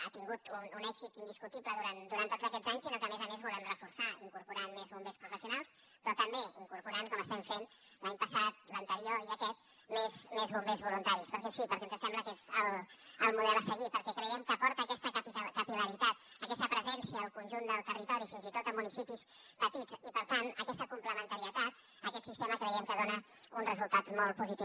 ha tingut un èxit indiscutible durant tots aquests anys sinó que a més a més el volem reforçar incorporant més bombers professionals però també incorporant com hem estat fent l’any passat l’anterior i aquest més bombers voluntaris perquè sí perquè ens sembla que és el model a seguir perquè creiem que aporta aquesta capil·laritat aquesta presència al conjunt del territori fins i tot a municipis petits i per tant aquesta complementarietat aquest sistema creiem que dona un resultat molt positiu